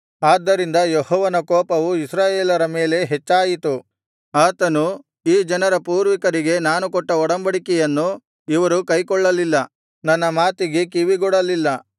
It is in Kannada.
ಆದ್ದರಿಂದ ಯೆಹೋವನ ಕೋಪವು ಇಸ್ರಾಯೇಲರ ಮೇಲೆ ಹೆಚ್ಚಾಯಿತು ಆತನು ಈ ಜನರ ಪೂರ್ವಿಕರಿಗೆ ನಾನು ಕೊಟ್ಟ ಒಡಂಬಡಿಕೆಯನ್ನು ಇವರು ಕೈಕೊಳ್ಳಲಿಲ್ಲ ನನ್ನ ಮಾತಿಗೆ ಕಿವಿಗೊಡಲಿಲ್ಲ